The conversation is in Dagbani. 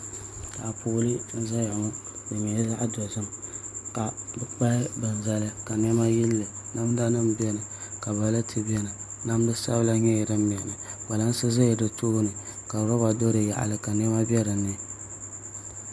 Taapooli n ʒɛya ŋɔ di nyɛla zaɣ dozim ka bi kpahi bini zali ka niɛma yilli namda nim biɛni ka balati biɛni namda sabila nyɛla din biɛni kpalansi do ti tooni ka roba ʒɛ di yaɣali ka niɛma bɛ dinni